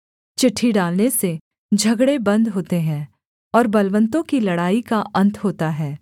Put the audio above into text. चिट्ठी डालने से झगड़े बन्द होते हैं और बलवन्तों की लड़ाई का अन्त होता है